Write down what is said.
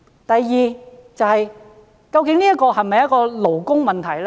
第二，這是否勞工問題？